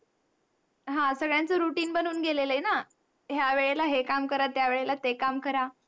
ह्या वेळेला हे काम करा, त्या वेळेला ते काम करा.